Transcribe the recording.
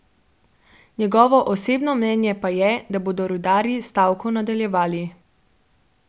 Njegovo osebno mnenje pa je, da bodo rudarji stavko nadaljevali.